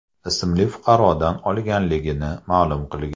ismli fuqarodan olganligini ma’lum qilgan.